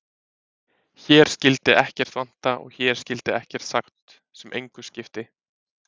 Hér skyldi ekkert vanta og hér skyldi ekkert sagt sem engu skipti.